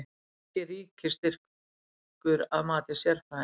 Ekki ríkisstyrkur að mati sérfræðinga